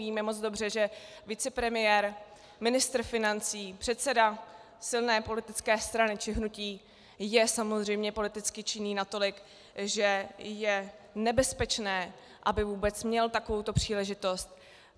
Víme moc dobře, že vicepremiér, ministr financí, předseda silné politické strany či hnutí je samozřejmě politicky činný natolik, že je nebezpečné, aby vůbec měl takovouto příležitost.